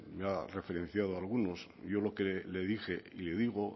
me ha referenciado algunos yo lo que le dije y le digo